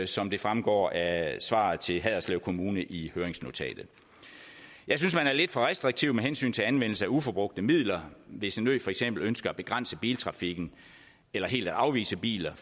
som det fremgår af svaret til haderslev kommune i høringsnotatet jeg synes man er lidt for restriktiv med hensyn til anvendelse af uforbrugte midler hvis en ø for eksempel ønsker at begrænse biltrafikken eller helt at afvise biler